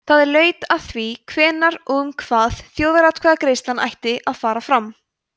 það laut að því hvenær og um hvað þjóðaratkvæðagreiðsla ætti að fara fram